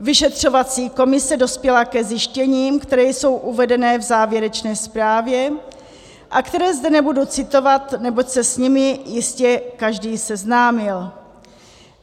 Vyšetřovací komise dospěla ke zjištěním, která jsou uvedena v závěrečné zprávě a která zde nebudu citovat, neboť se s nimi jistě každý seznámil.